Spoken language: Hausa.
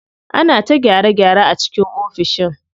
Ana ta gyare gyare a cikin ofishin.